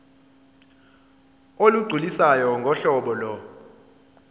olugculisayo ngohlobo lo